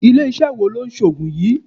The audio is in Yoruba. Ilé iṣẹ́ wo ló ń ṣe Ògùn yí?